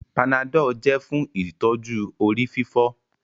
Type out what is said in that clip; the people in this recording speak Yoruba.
Panadol jẹ fún ìtọjú orí-fífọ́